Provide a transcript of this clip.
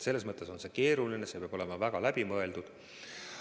Selles mõttes on see keeruline, see peab olema väga läbimõeldud.